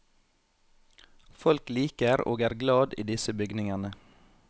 Folk liker og er glad i disse bygningene.